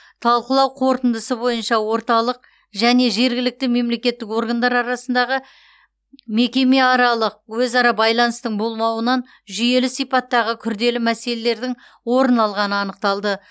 талқылау қорытындысы бойынша орталық және жергілікті мемлекеттік органдар арасындағы мекемеаралық өзара байланыстың болмауынан жүйелі сипаттағы күрделі мәселелердің орын алғаны анықталды